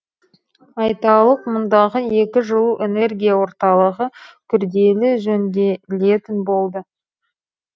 айталық мұндағы екі жылу энергия орталығы күрделі жөнделетін болды